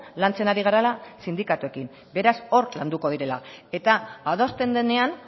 lantzen ari garela sindikatuekin beraz hor landuko direla eta adosten denean